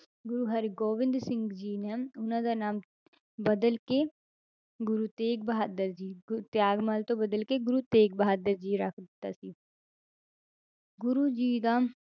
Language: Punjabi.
ਗੁਰੂ ਹਰਿਗੋਬਿੰਦ ਸਿੰਘ ਜੀ ਨੇ ਉਹਨਾਂ ਦਾ ਨਾਮ ਬਦਲ ਕੇ ਗੁਰੂ ਤੇਗ ਬਹਾਦਰ ਜੀ ਗੁਰ~ ਤਿਆਗਮੱਲ ਤੋਂ ਬਦਲ ਕੇ ਗੁਰੂ ਤੇਗ ਬਹਾਦਰ ਜੀ ਰੱਖ ਦਿੱਤਾ ਸੀ ਗੁਰੂ ਜੀ ਦਾ